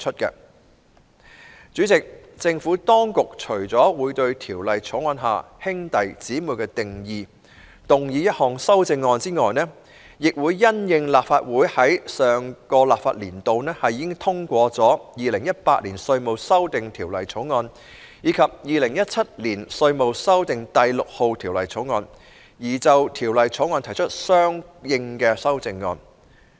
代理主席，政府當局除了會對《條例草案》下"兄弟姊妹"的定義動議一項修正案外，亦會因應立法會在上一個立法年度已通過的《2018年稅務條例草案》及《2017年稅務條例草案》，而就《條例草案》提出相應的修正案。